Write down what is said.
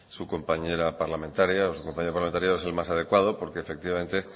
su compañera parlamentaria o su compañero parlamentario es el más adecuado porque efectivamente